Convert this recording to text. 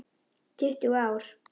Tuttugu ár!